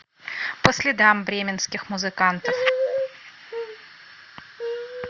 по следам бременских музыкантов